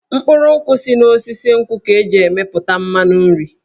Mkpụrụ nkwụ si n'osisi nkwụ ka e ji emepụta mmanụ nri.